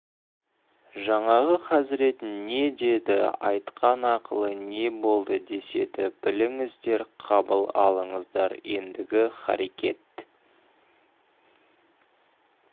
жаңағы хазірет не деді айтқан ақылы не болды деседі біліңіздер қабыл алыңыздар ендігі харекет